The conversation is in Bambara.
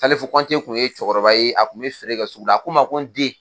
Salifu Kɔnte kun ye cɛkɔrɔba ye, a kun be feere kɛ sugu la, a ko n ma ko n den